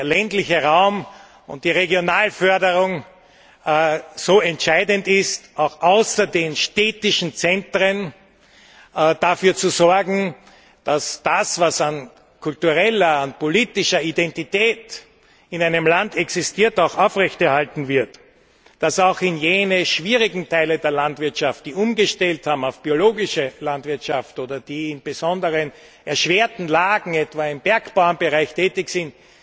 Und wenn der ländliche Raum und die Regionalförderung so entscheidend sind, ist auch außerhalb der städtischen Zentren dafür zu sorgen, dass das, was an kultureller, an politischer Identität in einem Land existiert, auch aufrechterhalten wird, und dass auch jene schwierigen Teile der Landwirtschaft, die umgestellt haben auf biologische Landwirtschaft oder die in besonders erschwerten Lagen, etwa im Bergbauernbereich, tätig sind,